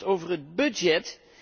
Allereerst over het budget.